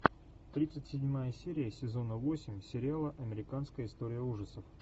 тридцать седьмая серия сезона восемь сериала американская история ужасов